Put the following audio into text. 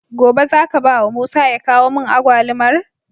Gobe zaka bawa musa ya kawo mun agwalumar?